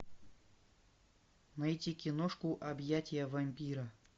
найти киношку объятия вампира